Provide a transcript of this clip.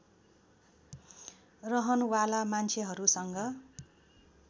रहन वाला मान्छेहरूसँग